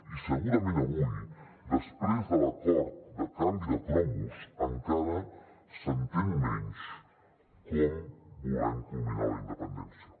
i segurament avui després de l’acord de canvi de cromos encara s’entén menys com volem culminar la independència